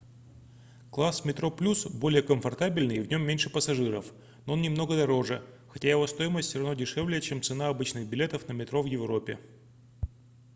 класс metroplus более комфортабельный и в нем меньше пассажиров но он немного дороже хотя его стоимость всё равно дешевле чем цена обычных билетов на метро в европе